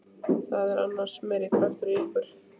Það er annars meiri krafturinn í ykkur.